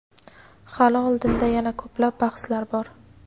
Hali oldinda yana ko‘plab bahslar bor.